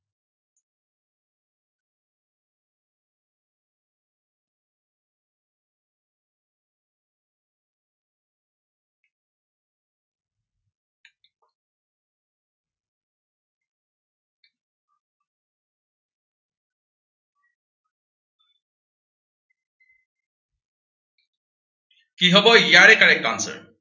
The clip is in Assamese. কি হব ইয়াৰে correct answer